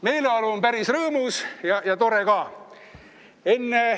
Meeleolu on päris rõõmus ja tore ka.